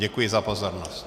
Děkuji za pozornost.